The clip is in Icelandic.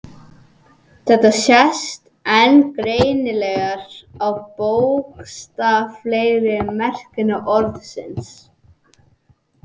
Þetta sést enn greinilegar á bókstaflegri merkingu orðsins.